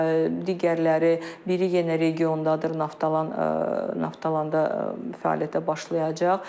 Digərləri biri yenə regiondadır, Naftalan Naftalanda fəaliyyətə başlayacaq.